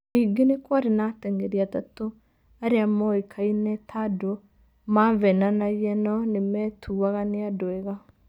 Ningĩ nĩ kwarĩ na ateng'eri atatũ arĩa moĩkaine ta andũ maveenanagia no nimetũaga ta andu ega.